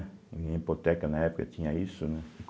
Eh hipoteca na época tinha isso, né?